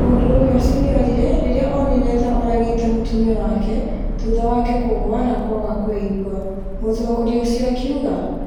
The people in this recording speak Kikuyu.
Mũndũrũme ũcio nĩ orire rĩrĩa oonire ta oragĩte mũtumia wake thutha wake kũgũa na kwaga kwĩigua, mũtongoria ũcio akiuga.